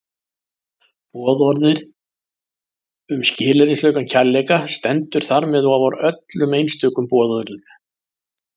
Boðorðið um skilyrðislausan kærleika stendur þar með ofar öllum einstökum boðorðum.